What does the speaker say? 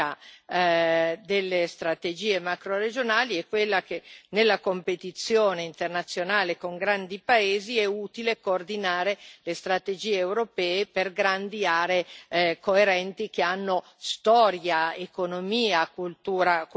delle strategie macroregionali è quella che nella competizione internazionale con grandi paesi è utile coordinare le strategie europee per grandi aree coerenti, che hanno storia, economia e cultura comuni.